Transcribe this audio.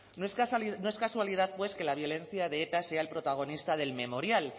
no es casualidad que la violencia de eta sea el protagonista del memorial